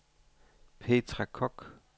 Petra Koch